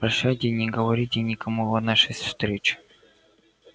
прощайте не говорите никому о нашей встрече